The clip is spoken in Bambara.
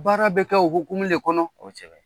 Baara bɛ kɛ o hukumu le kɔnɔ